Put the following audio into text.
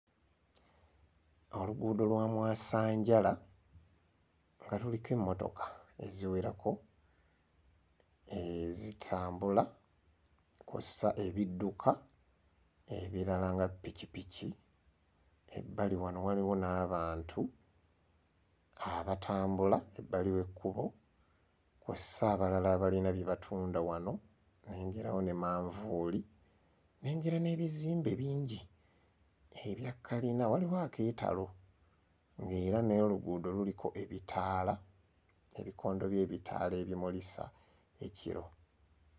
Oluguudo lwa mwasanjala nga luliko emmotoka eziwerako eeh zitambula kw'ossa ebidduka ebirala nga ppikippiki ebbali wano waliwo n'abantu abatambula ebbali w'ekkubo kw'ossa abalala abalina bye batunda nnengerawo ne manvuuli nnengera n'ebizimbe bingi ebya kkalina waliwo akeetalo n'era n'oluguudo luliko ebitaala ebikondo by'ebitaala ebimulisa ekiro.